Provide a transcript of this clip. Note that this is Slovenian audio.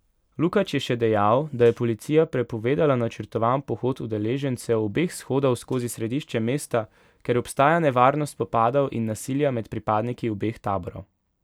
Lukač je še dejal, da je policija prepovedala načrtovan pohod udeležencev obeh shodov skozi središče mesta, ker obstaja nevarnost spopadov in nasilja med pripadniki obeh taborov.